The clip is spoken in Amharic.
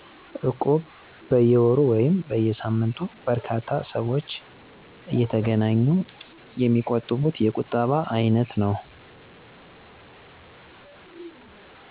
እቁብ በየ ወሩ ወይም በየ ሳምንቱ በርካታ ሰወች እየተገናኙ የሚቁጥቡት የቁጠባ አይነት ነው።